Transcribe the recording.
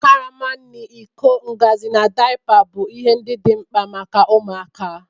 Karama nri, iko, ngaji, na daipa bụ ihe ndị dị mkpa maka ụmụaka.